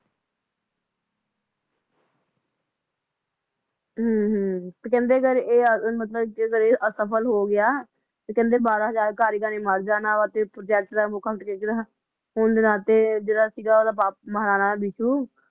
ਅਮ ਕਹਿੰਦੇ ਅਗਰ ਇਹ ਮਤਲਬ ਅਗਰ ਇਹ ਅਸਫਲ ਹੋ ਗਿਆ ਤੇ ਕਹਿੰਦੇ ਬਾਹਰਾ ਹਜਾਰ ਕਾਰੀਗਰਾ ਨੇ ਮਰ ਜਾਣਾ ਵਾ ਤੇ ਪ੍ਰੋਜੇਕਟ ਦਾ